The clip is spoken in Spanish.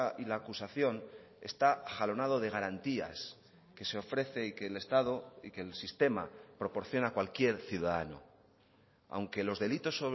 y la acusación está jalonado de garantías que se ofrece y que el estado y que el sistema proporciona a cualquier ciudadano aunque los delitos